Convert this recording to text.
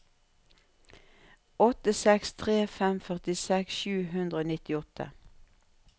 åtte seks tre fem førtiseks sju hundre og nittiåtte